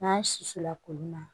N'an siso la koli ma